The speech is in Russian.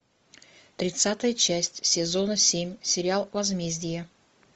тридцатая часть сезона семь сериал возмездие